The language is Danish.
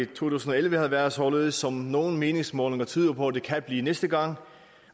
tusind og elleve havde været således som nogle meningsmålinger tyder på at det kan blive næste gang